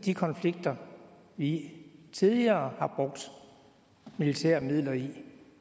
de konflikter vi tidligere har brugt militære midler i